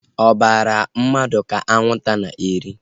Obara mmadụ ka anwụnta na-eri